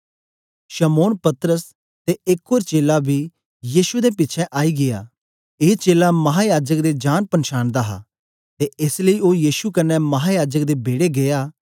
शमौन पतरस ते एक ओर चेला बी यीशु दे पिछें आई गीया ए चेला महायाजक दे जानपंछान दा हा ते एस लेई ओ यीशु कन्ने महायाजक दे बेड़े गीया